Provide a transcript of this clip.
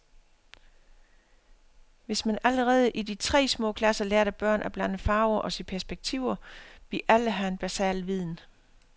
Hvis man allerede i de små klasser lærte børn at blande farver og se perspektiver, ville alle have en basal viden.